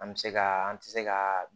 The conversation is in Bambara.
An bɛ se ka an tɛ se ka